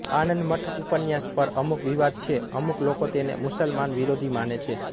આનંદ મઠ ઉપન્યાસ પર અમુક વિવાદ છે અમુક લોકો તેને મુસલમાન વિરોધી માને છે